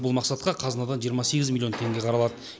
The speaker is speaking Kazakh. бұл мақсатқа қазынадан жиырма сегіз миллион теңге қаралады